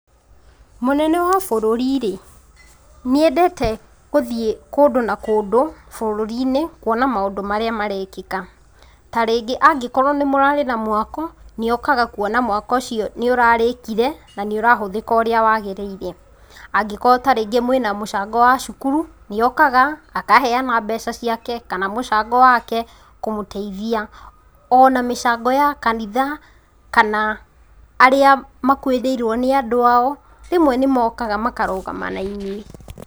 Mũnene wa bũrũri rĩ, nĩendete gũthiĩ kũndũ na kũndũ bũrurini kuona maũndũ marĩa marekĩka tarĩngĩ angĩkorwo nĩmũrarĩ na mwako nĩokaga kuona mwako ũcio nĩũrarĩkire na nĩũrahũthĩka ũrĩa wagĩrĩire. Angĩkorwo tarĩngĩ mwĩna mũcango wa cukuru nĩokaga akaheana mbeca ciake kana mũcango wake kũmũteithia ona mĩcango ya kanitha kana arĩa makuĩrĩirwo nĩ andũ ao rĩmwe nĩmokaga makarũgama nainyuĩ.